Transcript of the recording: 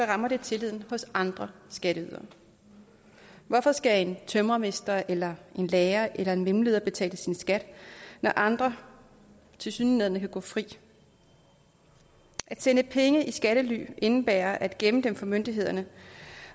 rammer det tilliden hos andre skatteydere hvorfor skal en tømrermester eller en lærer eller en mellemleder betale sin skat når andre tilsyneladende kan gå fri at sende penge i skattely indebærer at gemme dem for myndighederne